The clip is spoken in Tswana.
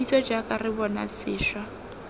kitso jaaka re bopa sešwa